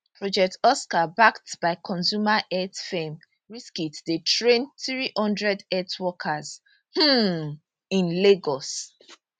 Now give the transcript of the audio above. project oscar backed by consumer health firm reckitt dey train 300 health workers um in lagos